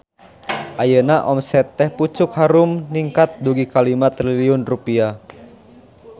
Ayeuna omset Teh Pucuk Harum ningkat dugi ka 5 triliun rupiah